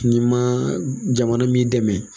N'i ma jamana m'i dɛmɛ